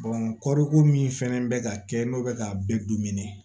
kɔɔriko min fɛnɛ bɛ ka kɛ n'o bɛ ka bɛɛ